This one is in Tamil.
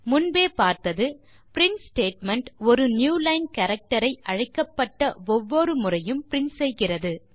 முன்பே பார்த்தது பிரின்ட் ஸ்டேட்மெண்ட் ஒரு புதிய லைன் கேரக்டர் ஐ அழைக்கப்பட்ட ஒவ்வொரு முறையும் பிரின்ட் செய்கிறது